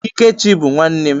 Ikechi bụ nwanne m.